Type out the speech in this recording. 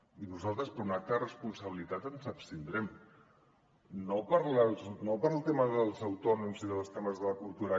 i nosaltres per un acte de responsabilitat ens abstindrem no pel tema dels autònoms i pels temes de cultura